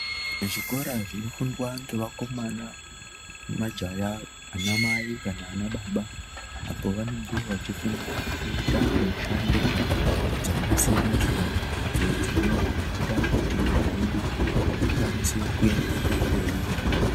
Zvikora zvinofundwa ngevakomana nemajaya anamai kana anababa apa vanenge vachifundira kuta mushando dzakasiyana-siyana idzo dzinoita kuti nyika yedu ikwanise kuenderera mberi zvakanaka.